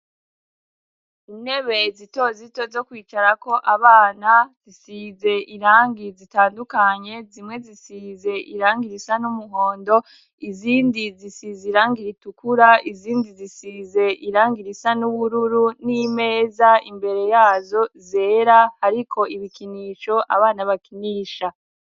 Intebe zito zito zo kwicarako abana, zisize irangi zitandukanye, zimwe zisize irangi risa n'umuhondo, izindi zisize irangi ritukura, izindi zisize irangi risa n'ubururu, n'imeza imbere yazo zera, hariko ibikinisho abana bakinisha.